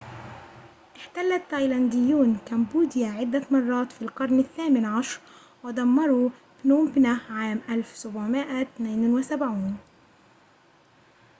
احتل التايلانديون كامبوديا عدة مرات في القرن الثامن عشر ودمروا بنوم بنه عام 1772